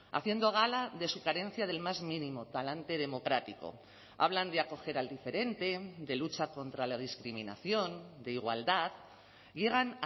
haciendo gala de su carencia del más mínimo talante democrático hablan de acoger al diferente de lucha contra la discriminación de igualdad llegan